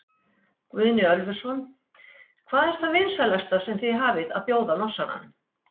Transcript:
Guðni Ölversson: Hvað er það vinsælasta sem þið hafið að bjóða Norsaranum?